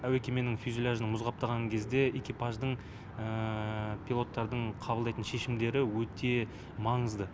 әуе кеменің фюзеляжын мұз қаптаған кезде экипаждың пилоттардың қабылдайтын шешімдері өте маңызды